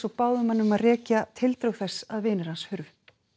og báðum hann að rekja tildrög þess að vinir hans hurfu